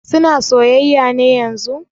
Suna soyayya ne yanzun?